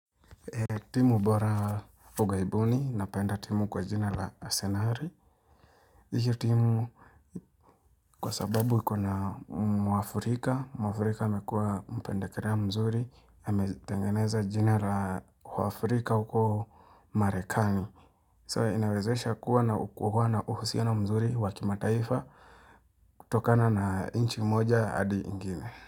Timu bora ugaibuni, napenda timu kwa jina la asenari. Hii timu kwa sababu iko na mwafrika, mwafrika mekua mpendekerea mzuri, hametengeneza jina la uafurika huko marekani. So, inawezesha kuwa na hukuhuwa na uhusia na mzuri wakimataifa, tokana na inchi moja adi ingine.